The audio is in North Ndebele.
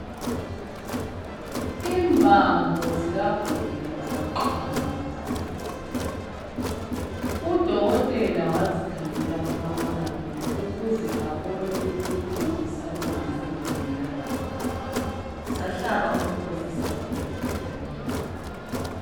Imbambo zikagogo zaqamuka zathi phu. Udokotela wazikhangela kumabonakude ukuze abone ukuthi zisalungiseka na. Sahlaba umkhosi isalukazi salawula.